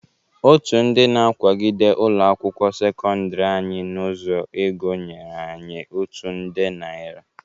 Otu ndị na-akwagide ụlọ akwụkwọ sekọndịrị anyị n'ụzo ego nyere anyị otu nde narị.